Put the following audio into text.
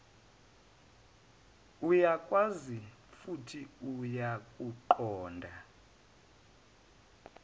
uyakwazi futhi uyakuqonda